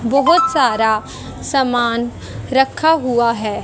बहुत सारा सामान रखा हुआ है।